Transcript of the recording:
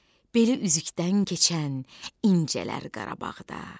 Beli üzükdən keçən incələr Qarabağda.